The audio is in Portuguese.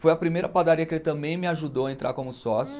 Foi a primeira padaria que ele também me ajudou a entrar como sócio.